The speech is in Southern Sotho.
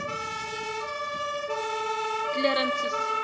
clarence's